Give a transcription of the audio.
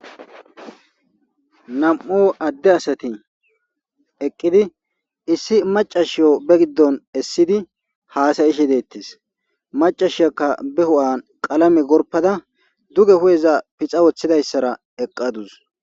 Nam'u adde asati eqqidi issi macashiyo be giddon essidi haasayishe deettes macashiyakka be hu'an qalame gorpada duge hu7eza pixa woththidayssara eqqadus.